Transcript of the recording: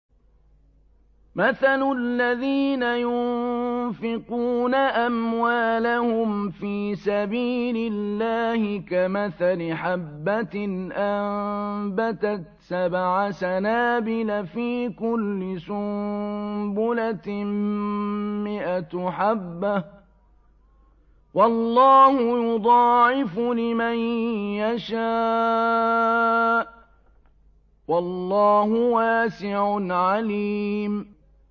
مَّثَلُ الَّذِينَ يُنفِقُونَ أَمْوَالَهُمْ فِي سَبِيلِ اللَّهِ كَمَثَلِ حَبَّةٍ أَنبَتَتْ سَبْعَ سَنَابِلَ فِي كُلِّ سُنبُلَةٍ مِّائَةُ حَبَّةٍ ۗ وَاللَّهُ يُضَاعِفُ لِمَن يَشَاءُ ۗ وَاللَّهُ وَاسِعٌ عَلِيمٌ